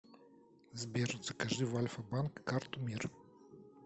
сбер закажи в альфа банк карту мир